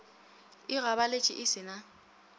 e gabaletše e se na